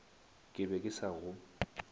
ke be ke sa go